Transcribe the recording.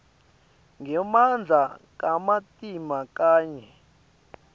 ngemandla kamatima kanye